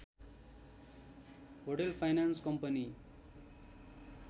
hotel finance company